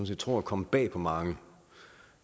set tror er kommet bag på mange